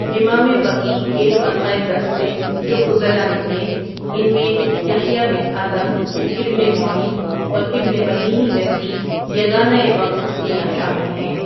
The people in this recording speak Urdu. امام وکیع کے حلقۂ درس سے جو فضلاء نکلے ان میں یحییٰ بن آدم، ابن معین اورابن مدینی جیسی یگانہ وقت ہستیاں شامل ہیں۔